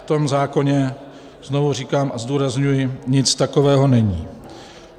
V tom zákoně, znovu říkám a zdůrazňuji, nic takového není.